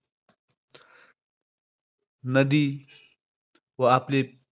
नदी व आपले